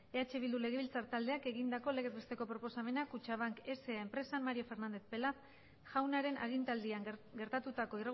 eh bildu legebiltzar taldeak egindako legez besteko proposamena kutxabank sa enpresan mario fernández pelaz jaunaren agintaldian gertatutako